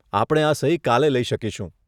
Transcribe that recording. આપણે આ સહી કાલે લઇ શકીશું.